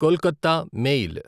Kolkata mail